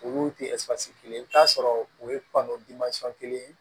Olu tɛ kelen ye i bɛ t'a sɔrɔ o ye kelen